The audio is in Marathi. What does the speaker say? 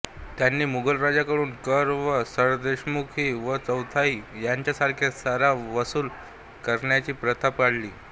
त्यांनी मोगल राज्यांकडून कर व सरदेशमुखी व चौथाई यांच्यासारखा सारा वसूल करण्याची प्रथा पाडली